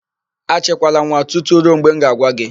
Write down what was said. Achịkwala nwa tutu ruo mgbe m ga-agwa gị!